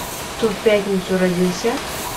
кто в пятницу родился